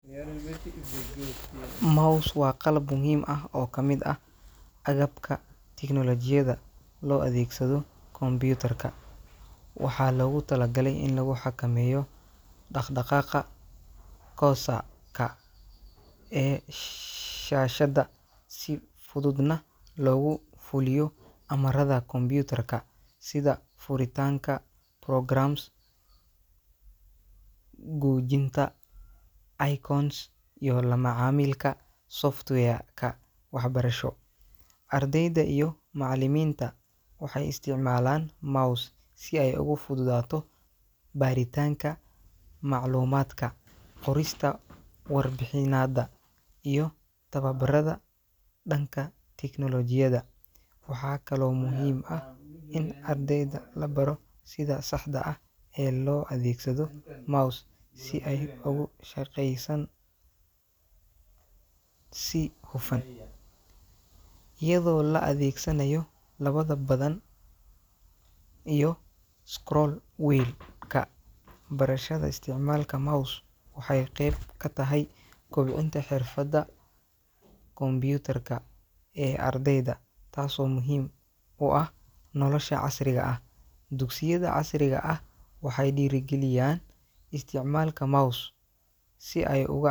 Mouse waa qalab muhiim ah oo ka mid ah agabka tignoolajiyada loo adeegsado kombiyuutarka. Waxaa loogu talagalay in lagu xakameeyo dhaqdhaqaaqa cursor-ka ee shaashadda si fududna loogu fuliyo amarrada kombiyuutarka sida furitaanka programs, gujinta icons, iyo la macaamilka software-ka waxbarasho. Ardayda iyo macallimiinta waxay isticmaalaan mouse si ay ugu fududaato baaritaanka macluumaadka, qorista warbixinnada, iyo tababarrada dhanka tignoolajiyada. Waxaa kaloo muhiim ah in ardayda la baro sida saxda ah ee loo adeegsado mouse si ay ugu shaqeeysan si hufan, iyadoo la adeegsanayo labada badhan iyo scroll wheel-ka. Barashada isticmaalka mouse waxay qayb ka tahay kobcinta xirfadaha kombiyuutarka ee ardayda, taasoo muhiim u ah nolosha casriga ah. Dugsiyada casriga ah waxay dhiirrigeliyaan isticmaalka mouse si ay ugac.